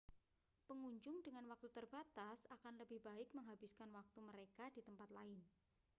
pengunjung dengan waktu terbatas akan lebih baik menghabiskan waktu mereka di tempat lain